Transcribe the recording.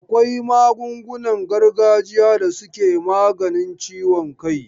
Akwai magungunan gargajiya da suke maganin ciwon kai.